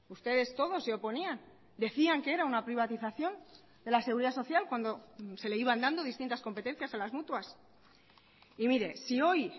ustedes todos se oponían decían que era una privatización de la seguridad social cuando se le iban dando distintas competencias a las mutuas y mire si hoy